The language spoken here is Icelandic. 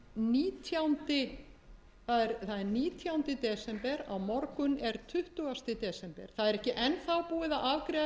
tólf það er nítjándi desember á morgun er tuttugasta desember það er ekki enn búið að afgreiða